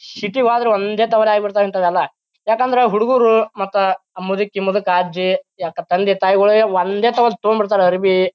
City ಗೆ ಹ್ವಾದ್ರ ಒಂದೇ ತವರ ಆಗ್ಬಿತವೇ ಹಿಂತಾವೆಲ್ಲ. ಯಾಕಂದ್ರ ಹುಡುಗೂರು ಮತ್ತ ಆ ಮುದುಕಿ-ಮುದುಕ ಅಜ್ಜಿ ತಂದೆ-ತಾಯಿಗೋಳಿಗೆ ಒಂದೇ ತೊಗೊಂಡ್ ಬಿಡ್ತಾರ ಅರಬಿ--